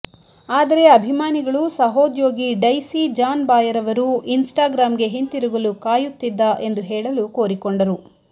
ಆದರೆ ಅಭಿಮಾನಿಗಳು ಸಹೋದ್ಯೋಗಿ ಡೈಸಿ ಜಾನ್ ಬಾಯರ್ ಅವರು ಇನ್ಸ್ಟಾಗ್ರಾಮ್ಗೆ ಹಿಂತಿರುಗಲು ಕಾಯುತ್ತಿದ್ದ ಎಂದು ಹೇಳಲು ಕೋರಿಕೊಂಡರು